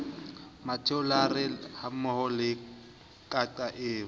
mmathulare hammoho le qaka eo